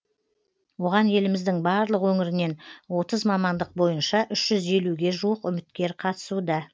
оған еліміздің барлық өңірінен отыз мамандық бойынша үш жүз елуге жуық үміткер қатысуда